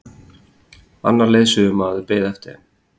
Annar leiðsögumaður beið eftir þeim.